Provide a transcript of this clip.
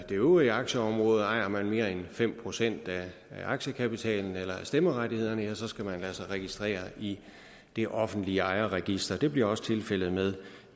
øvrige aktieområde ejer man mere end fem procent af aktiekapitalen eller af stemmerettighederne skal man lade sig registrere i det offentlige ejerregister det bliver også tilfældet med